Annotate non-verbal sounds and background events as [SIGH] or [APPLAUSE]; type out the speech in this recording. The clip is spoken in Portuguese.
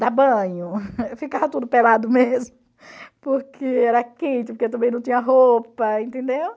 dar banho, [LAUGHS] ficava tudo pelado mesmo, porque era quente, porque também não tinha roupa, entendeu?